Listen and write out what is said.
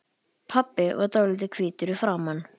Pabbi var dálítið hvítur í framan.